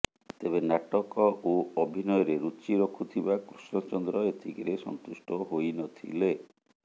ତେବେ ନାଟକ ଓ ଅଭିନୟରେ ରୁଚି ରଖୁଥିବା କୃଷ୍ଣଚନ୍ଦ୍ର ଏତିକିରେ ସନ୍ତୁଷ୍ଟ ହୋଇନଥିଲେ